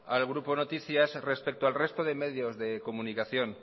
al grupo noticias respecto de medios de comunicación